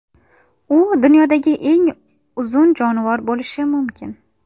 U dunyodagi eng uzun jonivor bo‘lishi mumkin.